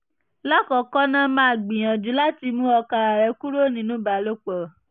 lakoko na maa gbiyanju lati mu oka re kuro ninu ibalopo